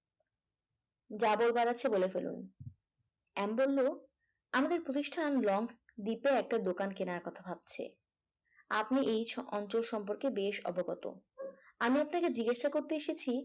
যা বলবার আছে বলে ফেলুন হ্যাঁ এম বলল আমাদের প্রতিষ্ঠান লংক দ্বীপে একটা দোকান কেনার কথা ভাবছি আপনি এই ছ অন্তর সম্পর্কে বেশ অবগত আমি আপনাকে জিজ্ঞাসা করতে এসেছি